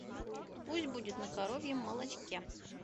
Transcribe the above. пусть будет на коровьем молочке